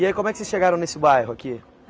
E aí, como é que vocês chegaram nesse bairro aqui?